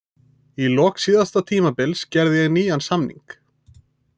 Í lok síðasta tímabils gerði ég nýjan samning.